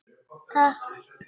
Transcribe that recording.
Vertu sæll.